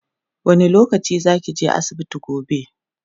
wani lokaci zakije asibiti gobe?